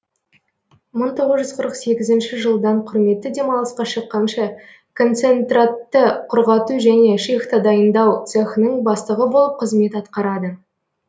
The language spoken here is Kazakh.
мың тоғыз жүз қырық сегізінші жылдан құрметті демалысқа шыққанша концентратты құрғату және шихта дайыңдау цехының бастығы болып қызмет атқарады